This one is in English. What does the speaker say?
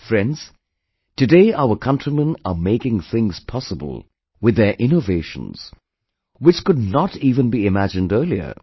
Friends, Today our countrymen are making things possible with their innovations, which could not even be imagined earlier